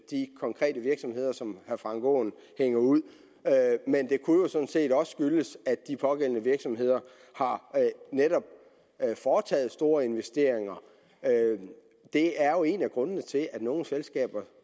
de konkrete virksomheder som herre frank aaen hænger ud men det kunne jo sådan set også skyldes at de pågældende virksomheder netop har foretaget store investeringer det er jo en af grundene til at nogle selskaber